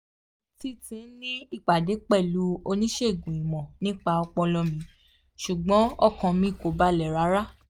mo ti ti ní ìpàdé pẹ̀lú oníṣègùn ìmọ̀ nípa ọpọlọ mi ṣùgbọ́n ọkàn mi kò balẹ̀ rárá